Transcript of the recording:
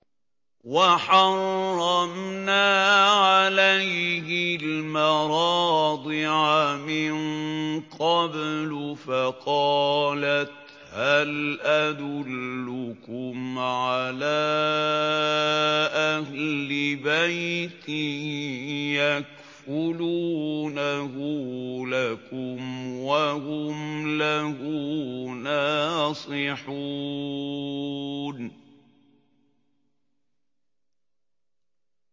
۞ وَحَرَّمْنَا عَلَيْهِ الْمَرَاضِعَ مِن قَبْلُ فَقَالَتْ هَلْ أَدُلُّكُمْ عَلَىٰ أَهْلِ بَيْتٍ يَكْفُلُونَهُ لَكُمْ وَهُمْ لَهُ نَاصِحُونَ